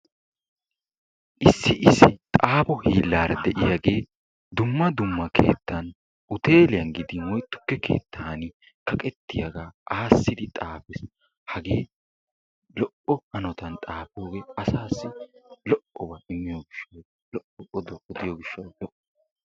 Issi issi xaafo hiillaara de'iyaagee dumma dumma keettan huteeliyaan gidin tukke keettan kaqqettiyaa aassidi xaafiis. hagee lo"o hanotaan xaafogee asaasi lo"obaa immiyoo giishawu lo"oba gidiyoo giishshawu.